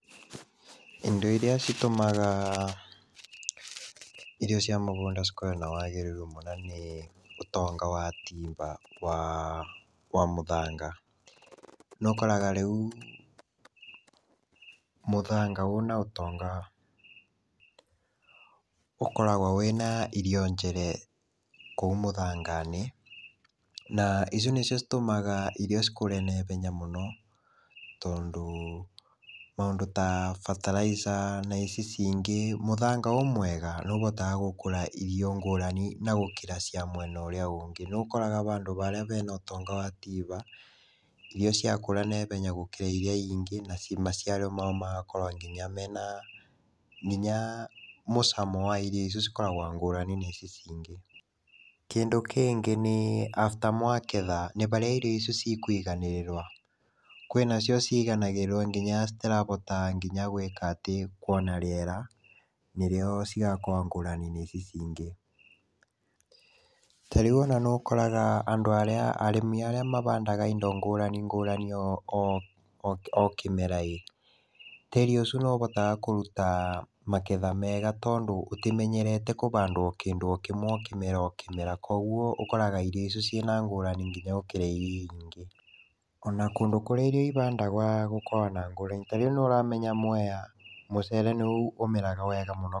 Indo irĩa citũmaga, irio cia mũgũnda cikorwe na wagĩrĩru mwega nĩ, ũtonga wa tiba wa mũthanga. Nĩ ũkoraga rĩũc, mũthanga ũna ũtonga ũkoragwa wĩna irio njere kũu mũthanganĩ na icio nĩcio itũmaga irio cikũre na ihenya mũno, tondũ maũndũ ta bataraitha na ici cingĩ mũthanga wĩ mwega nĩ ũhotaga gũkũra irio ngũrani na gũkĩra cia mwena ũrĩa ũngĩ. Nĩ ũkoraga handũ haria hena ũtonga wa tiba, irio ciakũra na ihenya gũkĩra iria ingĩ na maciaro mao magakorwa nginya mena mũcamo wa irio cikoragwa ngũrani gũkĩra icio cingĩ. Kĩndũ kĩngĩ nĩ, abta mwagetha nĩaharĩa irio icu ikwiganĩrĩrwa, kwĩna cio ciganagĩrĩrwa nginya citirahota nginya gwĩka atĩ kũina rĩera nĩrĩo cigakorwa ngũrani gũici cingĩ. Ta rĩũ ona nĩ ũkoraga andũ arĩa arĩmi arĩa mahandaga indo ngũrani ngũrani okĩmera ĩ tĩri ũcu nĩũhotaga kũruta magetha mega tondũ ũtĩmenyerete kũhandwa o kĩndũ o kĩmwe o kĩmera koguo ũgakoraga irio icu cina ngũrani nginya gũkĩra irio irĩa ingĩ, ona kũndũ kũrĩa irio ihandagwa gũkũ gũkoragwa na ngũrani. Ta rĩũ nĩ ũramenya Mwea mũcere nĩũ ũmeraga wega mũno.